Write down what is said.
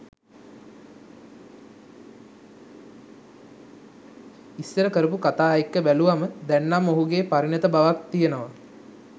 ඉස්සර කරපු කතා එක්ක බැලුවාම දැන්නම් ඔහුගේ පරිණත බවක් තියෙනවා